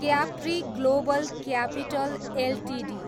Capri global capital Ltd